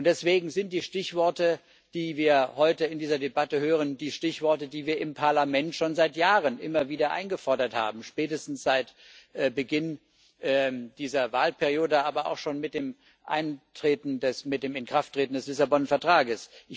Deswegen sind die Stichworte, die wir heute in dieser Debatte hören, die Stichworte, die wir im Parlament schon seit Jahren immer wieder eingefordert haben, spätestens seit Beginn dieser Wahlperiode, aber auch schon mit dem Inkrafttreten des Lissabon Vertrages.